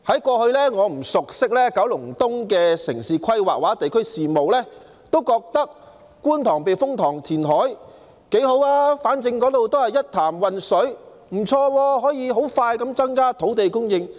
過去我不熟悉九龍東的城市規劃或地區事務，當時我覺得觀塘避風塘填海挺好的，反正那裏是一潭渾水，而且可以很快增加土地供應。